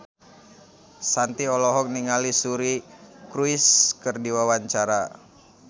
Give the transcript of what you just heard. Shanti olohok ningali Suri Cruise keur diwawancara